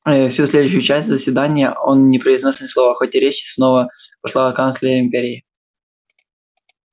ээ всю следующую часть заседания он не произнёс ни слова хотя речь снова пошла о канцлере империи